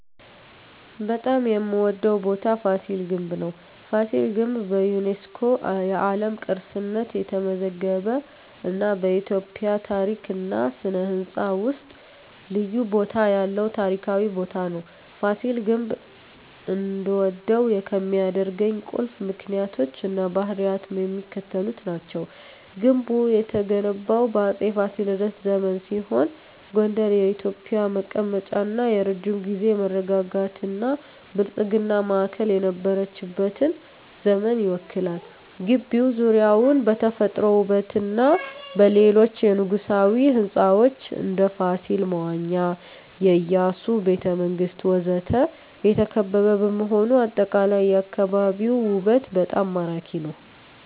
በጣም የምዎደው ቦታ ፋሲል ግንብ ነው። ፋሲል ግንብ በዩኔስኮ የዓለም ቅርስነት የተመዘገበ እና በኢትዮጵያ ታሪክ እና ሥነ ሕንፃ ውስጥ ልዩ ቦታ ያለው ታሪካዊ ቦታ ነው። ፋሲል ግንብ እንድወደው ከሚያደርኝ ቁልፍ ምክንያቶች እና ባህሪያት የሚከተሉት ናቸው። ግንቡ የተገነባው በአፄ ፋሲለደስ ዘመን ሲሆን ጎንደር የኢትዮጵያ መቀመጫ እና የረጅም ጊዜ መረጋጋትና ብልጽግና ማዕከል የነበረችበትን ዘመን ይወክላል። ግቢው ዙሪያውን በተፈጥሮ ውበትና በሌሎች የንጉሣዊ ሕንፃዎች (እንደ ፋሲል መዋኛ፣ የኢያሱ ቤተ መንግስት ወዘተ) የተከበበ በመሆኑ አጠቃላይ የአካባቢው ውበት በጣም ማራኪ ነው። …